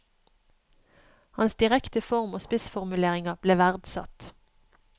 Hans direkte form og spissformuleringer ble verdsatt.